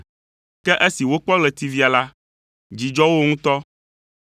Ke esi wokpɔ ɣletivia la, dzi dzɔ wo ŋutɔ.